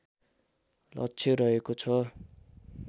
लक्ष्य रहेको छ